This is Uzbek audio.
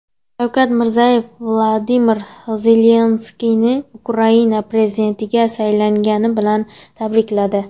Shavkat Mirziyoyev Vladimir Zelenskiyni Ukraina prezidentligiga saylangani bilan tabrikladi.